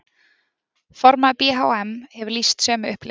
Formaður BHM hefur lýst sömu upplifun